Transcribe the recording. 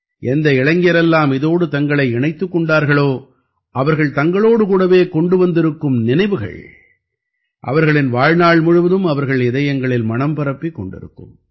எந்த இளைஞரெல்லாம் இதோடு தங்களை இணைத்துக் கொண்டார்களோ அவர்கள் தங்களோடு கூடவே கொண்டு வந்திருக்கும் நினைவுகள் அவர்களின் வாழ்நாள் முழுவதும் அவர்கள் இதயங்களில் மணம் பரப்பிக் கொண்டிருக்கும்